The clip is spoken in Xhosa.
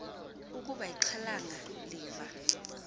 ukuba ixhalanga liva